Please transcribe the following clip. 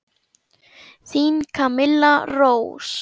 Þín Camilla Rós.